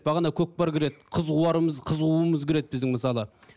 бағана көкпар кіреді қыз қуарымыз қыз қууымыз кіреді біздің мысалы